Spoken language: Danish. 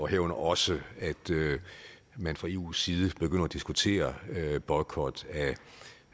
herunder også at man fra eus side begynder at diskutere boykot af